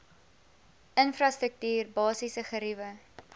infrastruktuur basiese geriewe